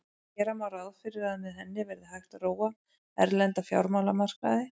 Gera má ráð fyrir að með henni verði hægt að róa erlenda fjármálamarkaði.